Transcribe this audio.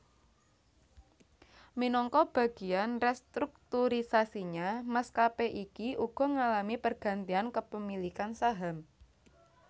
Minangka bagiyan restrukturisasinya maskapé iki uga ngalami pergantian kepemilikan saham